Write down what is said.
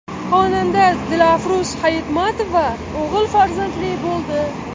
Xonanda Dilafruz Hayitmatova o‘g‘il farzandli bo‘ldi.